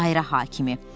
Dairə hakimi.